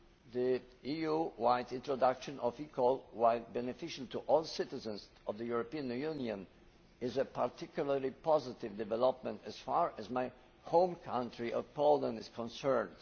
The EU wide introduction of eCall, while beneficial to all citizens of the European Union, is a particularly positive development as far as my home country of Poland is concerned.